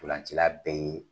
Stolancila bɛ ye